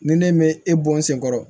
Ni ne mɛ e bɔ n sen kɔrɔ